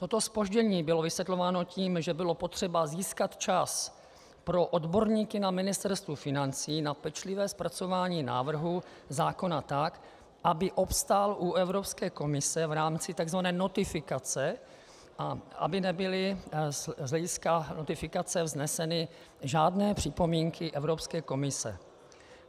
Toto zpoždění bylo vysvětlováno tím, že bylo potřeba získat čas pro odborníky na Ministerstvo financí na pečlivé zpracování návrhu zákona tak, aby obstál u Evropské komise v rámci tzv. notifikace a aby nebyly z hlediska notifikace vzneseny žádné připomínky Evropské komise.